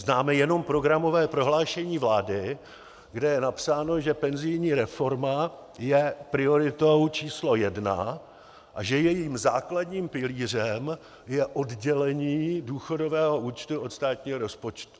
Známe jenom programové prohlášení vlády, kde je napsáno, že penzijní reforma je prioritou číslo jedna a že jejím základním pilířem je oddělení důchodového účtu od státního rozpočtu.